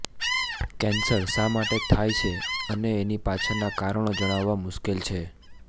cancer શા માટે થાય છે અને એની પાછળનાં કારણો જાણવાં મુશ્કેલ છે